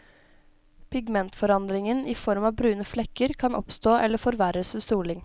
Pigmentforandringen i form av brune flekker kan oppstå eller forverres ved soling.